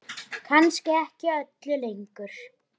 Kannski ekki öllu lengur?